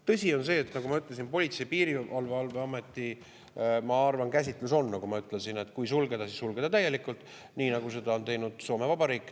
Tõsi on see, nagu ma ütlesin, et Politsei‑ ja Piirivalveameti käsitlus on, et kui sulgeda, siis sulgeda täielikult, nii nagu seda on teinud Soome Vabariik.